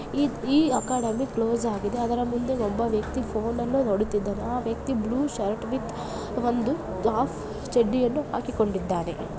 ಈ-ಈ academy close ಆಗಿದೆ. ಅದರ ಮುಂದೆ ಒಬ್ಬ ವ್ಯಕ್ತಿ ಫೋನ್ ಅನ್ನು ನೋಡುತ್ತಿದ್ದಾನೆ. ಆ ವ್ಯಕ್ತಿ ಬ್ಲೂ ಶರ್ಟ್ ವಿಥ್ ಒಂದು ಹಾಫ್ ಚಡ್ಡಿಯನ್ನು ಹಾಕಿ ಕೊಂಡ್ಡಿದ್ದಾನೆ.